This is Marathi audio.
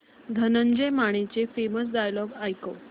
धनंजय मानेचे फेमस डायलॉग ऐकव